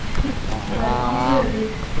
Herman Løvik